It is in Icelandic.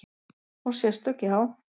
Og sérstök, já.